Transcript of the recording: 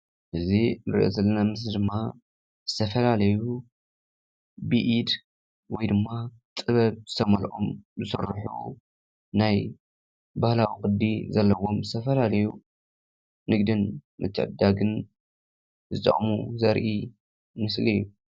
እዚ እንርእዮ ዘለና ምስሊ ድማ ዝተፋላለዩ ብኢድ ወይ ድማ ጥበብ ዝተመለኦም ዝስርሑ ናይ ባህላዊ ቅዲ ዘለዎም ዝተፋላለዩ ንግድን ምትዕድዳግን ዝጠቕሙ ዘርኢ ምስሊ እዩ፡፡